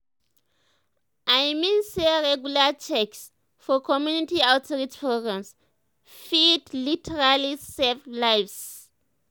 i mean say regular checks for community outreach programs fit literally save lives.